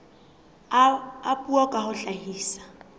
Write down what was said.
a puo ka ho hlahisa